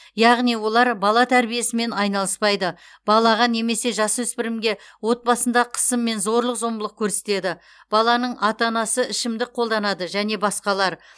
яғни олар бала тәрбиесімен айналыспайды балаға немесе жасөспірімге отбасында қысым мен зорлық зомбылық көрсетеді баланың ата анасы ішімдік қолданады және басқалар